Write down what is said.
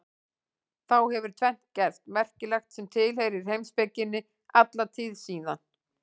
Þá hefur tvennt gerst merkilegt sem tilheyrir heimspekinni alla tíð síðan.